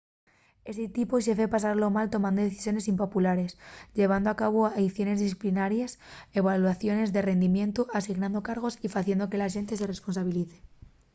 esti tipu de xefe pásalo mal tomando decisiones impopulares llevando a cabu aiciones disciplinaries evaluaciones de rindimientu asignando cargos y faciendo que la xente se responsabilice